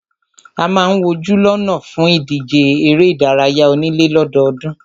A máà ń wojú lọ́nà fún ìdíje eré ìdárayá onílé lọ́dọọ́dún.